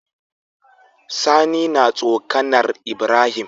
Sani na tsokAnar ibrahim